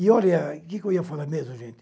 E olha, que que eu ia falar mesmo, gente?